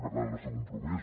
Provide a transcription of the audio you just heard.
per tant el nostre compromís